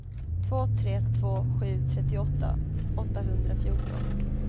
två tre två sju trettioåtta åttahundrafjorton